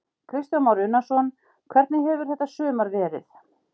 Kristján Már Unnarsson: Hvernig hefur þetta sumar verið?